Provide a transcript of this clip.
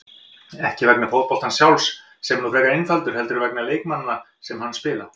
Ekki vegna fótboltans sjálfs, sem er nú frekar einfaldur, heldur vegna leikmanna sem hann spila.